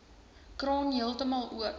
kraan heeltemal oop